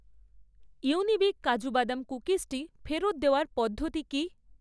ইউনিবিক কাজু বাদাম কুকিজটি ফেরত দেওয়ার পদ্ধতি কী?